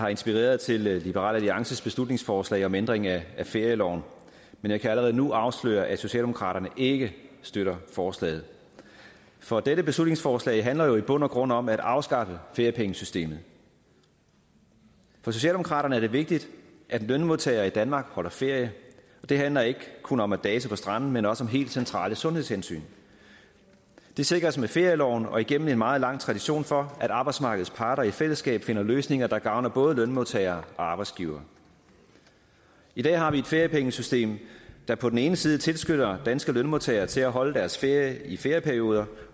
har inspireret til liberal alliances beslutningsforslag om ændring af ferieloven men jeg kan allerede nu afsløre at socialdemokraterne ikke støtter forslaget for dette beslutningsforslag handler jo i bund og grund om at afskaffe feriepengesystemet for socialdemokraterne er det vigtigt at en lønmodtager i danmark holder ferie og det handler ikke kun om at dase på stranden men også om helt centrale sundhedshensyn det sikres med ferieloven og igennem en meget lang tradition for at arbejdsmarkedets parter i fællesskab finder løsninger der gavner både lønmodtagere og arbejdsgivere i dag har vi et feriepengesystem der på den ene side tilskynder danske lønmodtagere til at holde deres ferie i ferieperioder